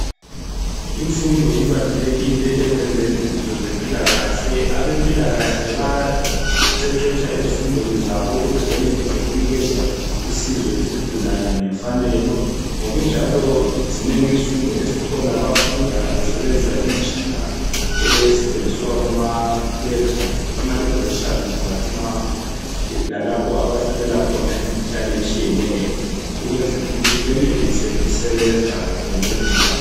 Imfundo ibalulekile ekwenzeni izinto ezempilakahle abazempilakahle bayaqeqesha ezifundweni zabo ukuze benelise ukunikeza usizo kuzigulani ngokunjalo zinengi izifundo ezikhona bayafunda besebenzisa imitshina abayithola KumaLaboratory lalapha abahlolela khona imikhuhlane etshiyeneyo ukunzwela ukuthi benelise ukusebenza bengcedisa